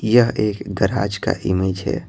यह एक गराज का इमेज है।